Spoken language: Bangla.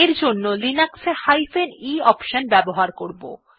এর জন্য আমরা লিনাক্স এ e অপশন ব্যবহার করব